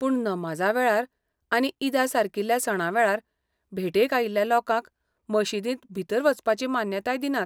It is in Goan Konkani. पूण नमाजा वेळार आनी ईदासारकील्या सणां वेळार, भेटेक आयिल्ल्या लोकांक मशीदींत भितर वचपाची मान्यताय दिनात.